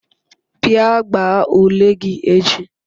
bia gbaa ule gi echi